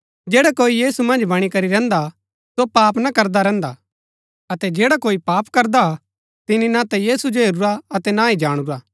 जैडा कोई यीशु मन्ज बणी करी रैहन्दा हा सो पाप ना करदा रैहन्दा अतै जैडा कोई पाप करदा तिनी ना ता यीशु जो हेरूरा अतै ना ही जाणुरा